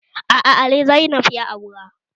Aa, Ali Zainab ya aura